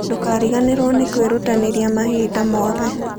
Ndũkariganĩrũo nĩ kwĩrutanĩria mahinda mothe.